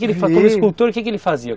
Como escultor, o que que ele fazia?